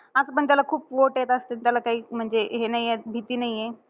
असं पण त्याला खूप vote येत असत्यात. त्याला काही म्हणजे हे नाहीये भीती नाहीये.